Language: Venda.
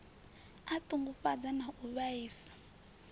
a ṱungufhadza na u vhaisa